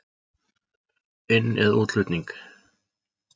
Inn- eða útflutning?